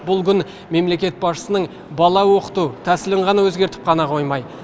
бұл күн мемлекет басшысының бала оқыту тәсілін ғана өзгертіп қана қоймай